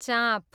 चाँप